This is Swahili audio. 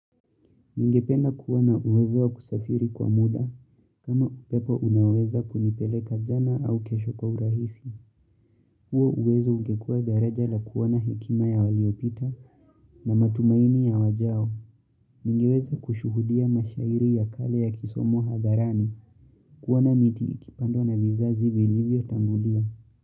Ningependa kuwana uwezoa kusafiri kwa muda, kama upepo unaweza kunipeleka jana au kesho kwa urahisi. Huo uwezo ungekua daraja la kuona hekima ya waliopita na matumaini ya wajao. Ningeweza kushuhudia mashairi ya kale ya kisomwq hadharani kuona miti ikipandwa na vizazi vilivyo tangulia.